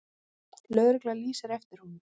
Lögregla lýsir eftir honum.